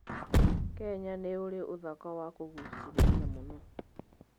Kenya nĩ ũrĩ ũthaka wa kũguucĩrĩria mũno.